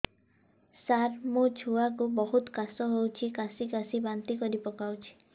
ସାର ମୋ ଛୁଆ କୁ ବହୁତ କାଶ ହଉଛି କାସି କାସି ବାନ୍ତି କରି ପକାଉଛି